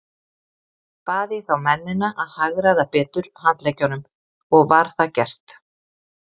Bað ég þá mennina að hagræða betur handleggjunum, og var það gert.